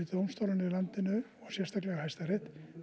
dómstólana í landinu og sérstaklega Hæstarétt